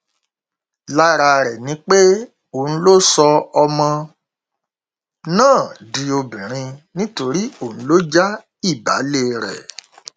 lára rẹ ni pé òun ló sọ ọmọ náà di obìnrin nítorí òun ló já ìbàlẹ rẹ